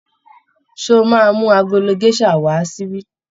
Ṣé ó máa mú agolo géṣà wà á síbí?